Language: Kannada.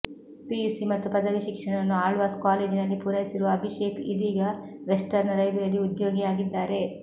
ಪಿಯುಸಿ ಮತ್ತು ಪದವಿ ಶಿಕ್ಷಣವನ್ನು ಆಳ್ವಾಸ್ ಕಾಲೇಜಿನಲ್ಲಿ ಪೂರೈಸಿರುವ ಅಭಿಷೇಕ್ ಇದೀಗ ವೆಸ್ಟರ್ನ್ ರೈಲ್ವೆಯಲ್ಲಿ ಉದ್ಯೋಗಿಯಾಗಿದ್ದಾರೆ